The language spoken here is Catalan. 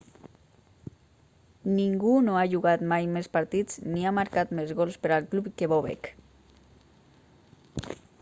ningú no ha jugat mai més partits ni ha marcat més gols per al club que bobek